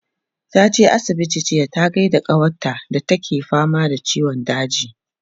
taje asibiti jiya ta gaida kawar ta da take fama da ciwon daji